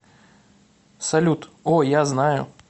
салют о я знаю